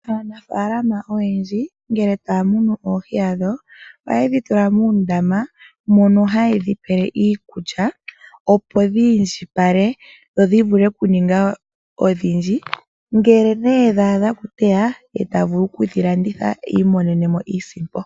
Aanafaalama oyendji ngele taya munu oohi dhawo oha yedhi tula muundama, mono ha yedhi pele iikulya, opo dhi indjipale dho dhi vule oku ninga odhindji. Ngele nee dha adha oku tewa, yo taya vulu okudhi landitha, yi imonene iisimpo.